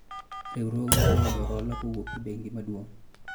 riwruogwa oseyudo hola kowuok e bengi maduong '